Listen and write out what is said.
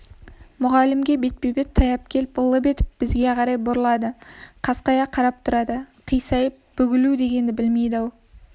мұғалімге бетпе-бет таяп келіп лып етіп бізге қарай бұрылады қасқая қарап тұрады қисайып бүгілу дегенді білмейді-ау